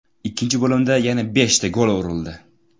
Ikkinchi bo‘limda yana beshta gol urildi.